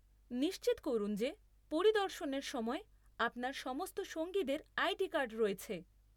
নিশ্চিত করুন যে পরিদর্শনের সময় আপনার সমস্ত সঙ্গীদের আইডি কার্ড রয়েছে।